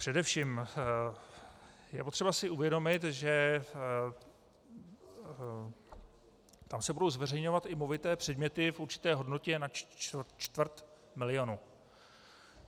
Především je potřeba si uvědomit, že se tam budou zveřejňovat i movité předměty v určité hodnotě, nad čtvrt milionu.